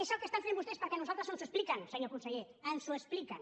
és el que estan fent vostès perquè a nosaltres ens ho expliquen senyor conseller ens ho expliquen